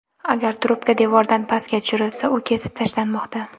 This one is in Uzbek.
Agar trubka devordan pastga tushirilsa, u kesib tashlanmoqda.